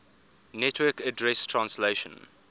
network address translation